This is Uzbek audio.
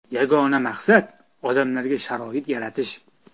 Yagona maqsad odamlarga sharoit yaratish.